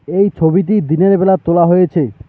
এই ছবিটি দিনের বেলায় তোলা হয়েছে।